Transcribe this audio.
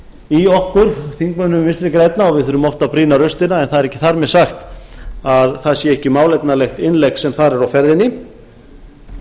í okkur þingmönnum vinstri grænna og við þurfum oft að brýna raustina en það er ekki þar með sagt að það sé ekki málefnalegt innlegg sem þar er á ferðinni